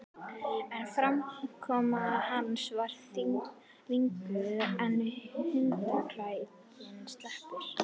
En framkoma hans var þvinguð þegar hundakætinni sleppti.